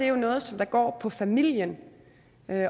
jo noget som går på familien